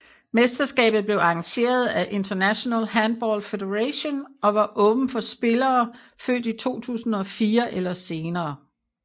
Mesterskabet blev arrangeret af International Handball Federation og var åbent for spillere født i 2004 eller senere